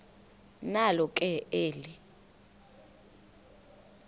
nalo ke eli